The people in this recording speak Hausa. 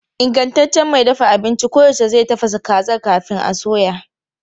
Ingantaccen mai dafa abinci koyaushe zai tafasa kazar kafin a soya.